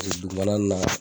E dugumana na